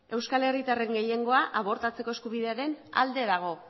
euskal herritarren gehiengoa abortatzeko eskubidearen alde dago